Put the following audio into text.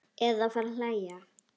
Eða fara að hlæja.